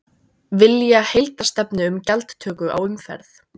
Vilja heildarstefnu um gjaldtöku á umferð